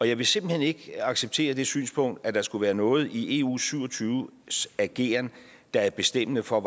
jeg vil simpelt hen ikke acceptere det synspunkt at der skulle være noget i eu syv og tyve ageren der er bestemmende for